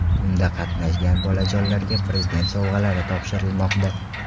Unda qatnashgan bolajonlarga Prezident sovg‘alari topshirilmoqda.